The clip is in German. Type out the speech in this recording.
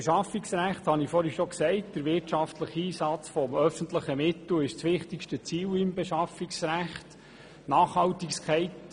Ich habe zuvor schon gesagt, dass der wirtschaftliche Einsatz von öffentlichen Mitteln das wichtigste Ziel im Beschaffungsrecht ist.